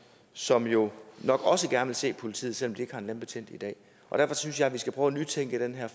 som jo nok også gerne vil se politiet selv om de ikke har en landbetjent i dag og derfor synes jeg at vi skal prøve at nytænke her